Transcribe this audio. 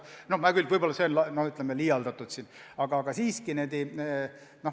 No hea küll, see on liialdatud väide, aga põhimõtteliselt nii on.